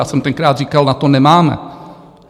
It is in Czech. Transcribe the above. Já jsem tenkrát říkal: Na to nemáme.